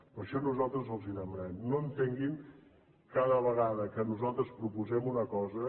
per això nosaltres els ho demanem no entenguin cada vegada que nosaltres proposem una cosa